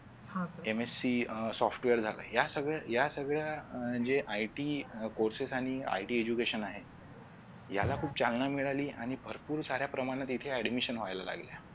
आह Mac अं software झालं या सगळ्या या सगळ्या अं जे it courcess आणि it education आहे याला खूप चालना मिळाली आणि भरपूर प्रमाणात इथे Admission व्हायला लागल्यात